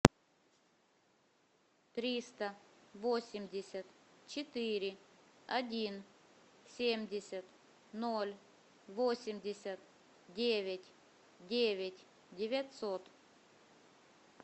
триста восемьдесят четыре один семьдесят ноль восемьдесят девять девять девятьсот